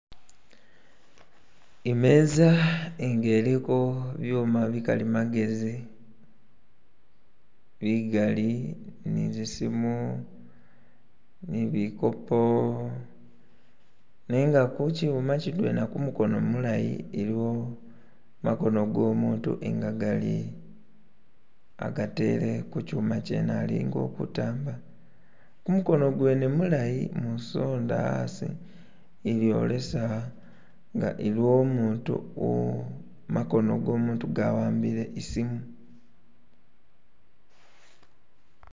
imeza nga eliko byuma bikalimagezi bigali nizisimu nibikopo nenga kuchuma chidwena kumukono mulayi eliwo makono gomutu nga gali agatele kuchuma chene alinga ulikutamba kumukono gwene mulayi musonda asi ibyolesa nga iliwo umutu makono gomutu gawambile isimu